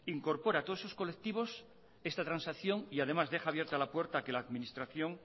incorpora todos esos colectivos esta transacción y además deja abierta la puerta a que la administración